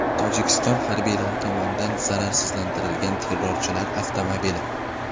Tojikiston harbiylari tomonidan zararsizlantirilgan terrorchilar avtomobili.